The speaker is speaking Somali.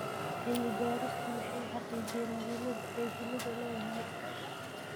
Cilmi-baaristu waxay xaqiijinaysaa muhiimadda ay shinnidu leedahay.